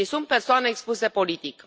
Ei sunt persoane expuse politic.